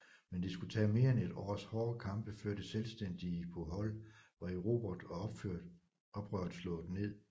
Men det skulle tage mere end et års hårde kampe før det selvstændige Bohol var erobret og oprøret slået ned